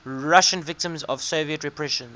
russian victims of soviet repressions